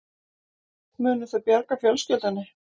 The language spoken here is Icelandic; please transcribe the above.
Munu þau bjarga fjölskyldunni